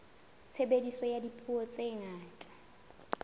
tshebediso ya dipuo tse ngata